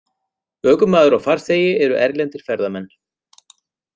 Ökumaður og farþegi eru erlendir ferðamenn